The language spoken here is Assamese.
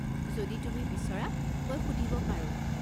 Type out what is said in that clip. যদি তুমি বিচৰা মই সুধিব পাৰোঁ।